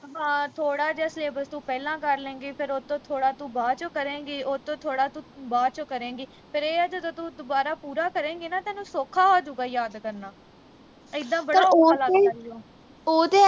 ਹਾਂ ਥੋੜਾ ਜਾਂ syllabus ਤੂੰ ਪਹਿਲਾਂ ਕਰ ਲੈ ਗੀ ਫਿਰ ਉਹ ਤੋਂ ਥੋੜਾ ਤੂੰ ਬਾਅਦ ਵਿਚ ਕਰੇਗੀ ਉਹ ਤੋਂ ਥੋੜਾ ਤੂੰ ਬਾਅਦ ਵਿਚ ਕਰੇਗੀ ਫਿਰ ਏਹ ਹੈ ਜਦੋਂ ਤੂੰ ਦੁਬਾਰਾ ਤੂੰ ਪੂਰਾ ਕਰੇਗੀ ਨਾ ਤੈਨੂੰ ਸੌਖਾ ਹੋਜੂਗਾ ਯਾਦ ਕਰਨਾ ਇੱਦਾਂ ਬੜਾ ਔਖਾ ਲੱਗਦਾ ਈ ਓ